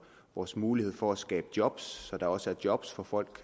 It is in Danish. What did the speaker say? vores mulighed for at skabe job så der også er job som folk